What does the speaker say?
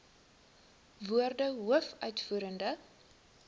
woorde hoof uitvoerende